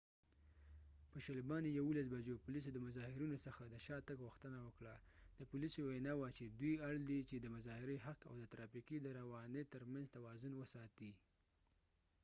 په 11:20 بجو پولیسو د مظاهرېنو څخه د شا تګ غوښتنه وکړه د پولیسو وينا وه چې دوي اړ دي چې د مظاهرې حق او د ترافیکو د روانی تر منځ توازن وساتي